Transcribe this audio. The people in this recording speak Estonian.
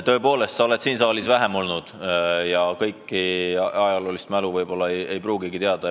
Tõepoolest, sa oled siin saalis vähem aega olnud ja kõike ajaloos olnut ei pruugi teada.